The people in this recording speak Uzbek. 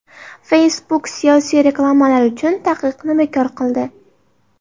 Facebook siyosiy reklamalar uchun taqiqni bekor qildi.